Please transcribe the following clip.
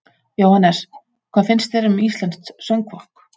Jóhannes: Hvað finnst þér um íslenskt söngfólk?